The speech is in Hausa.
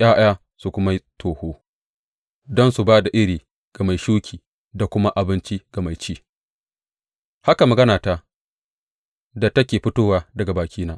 ’ya’ya su kuma yi toho, don su ba da iri ga mai shuki da kuma abinci ga mai ci, haka maganata da take fitowa daga bakina.